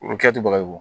U kɛ to bagayugu